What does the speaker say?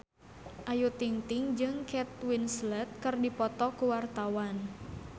Ayu Ting-ting jeung Kate Winslet keur dipoto ku wartawan